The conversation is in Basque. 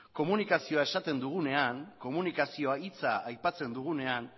komunikazioa esaten dugunean komunikazio hitza aipatzen dugunean